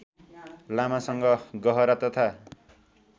लामासँग गहरा तथा